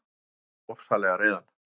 Hann gerði mig ofsalega reiðan.